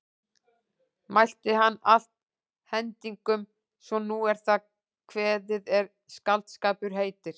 Mælti hann allt hendingum svo sem nú er það kveðið er skáldskapur heitir.